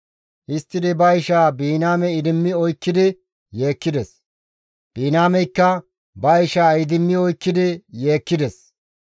Histtidi ba ishaa Biniyaame idimmi oykkidi yeekkides; Biniyaameykka ba ishaa idimmi oykkidi yeekkides.